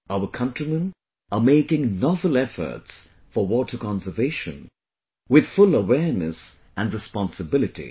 Our countrymen are making novel efforts for 'water conservation' with full awareness and responsibility